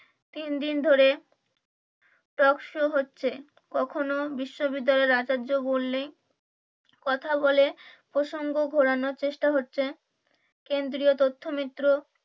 তিনদিন ধরে টকশো হচ্ছে কখনো বিশ্ববিদ্যালয়ের আচার্য বললেই কথা বলে প্রসঙ্গ ঘোরানোর চেষ্টা হচ্ছে কেন্দ্রীয় তথ্য মিত্র